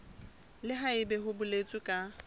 le haebe ho boletswe ka